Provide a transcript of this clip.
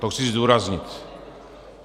To chci zdůraznit.